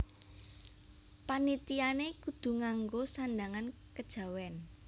Panitiané kudu ngango sandhangan kejawèn